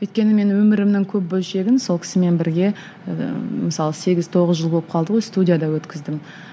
өйткені мен өмірімнің көп бөлшегін сол кісімен бірге ыыы мысалы сегіз тоғыз жыл болып қалды ғой студияда өткіздім